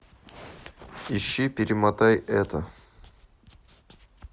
ищи перемотай это